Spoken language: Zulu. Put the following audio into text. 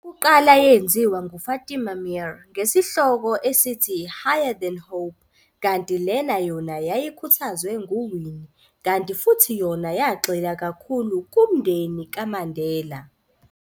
Eyokuqala yenziwa ngu-Fatima Meer ngesihloko esithi- "Higher Than Hope", kanti lena yona yayikhuthazwe nguWinnie, kanti futhi yona yagxila kakhulu kumndeni kaMandela.